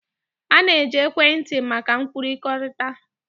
A na-eji ekwentị maka nkwukọrịta.